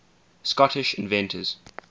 scottish inventors